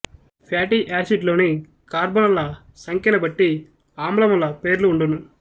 fatty acid లోని కార్బనుల సంఖ్యని బట్టీ అమ్లముల పేర్లు వుండును